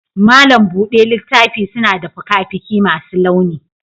malam buɗe littafi suna da fuka-fuki masu launi.